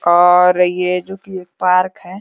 और ये जोकि एक पार्क है।